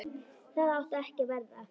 Það átti ekki að verða.